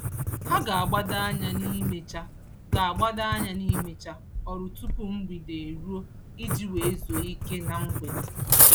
Ha ga-agbado anya n'imecha ga-agbado anya n'imecha ọrụ tupu mgbede eruo iji wee zuo ike na mgbede.